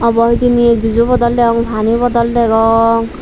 obo hijeni he jujo boddol degong pani bodol degong.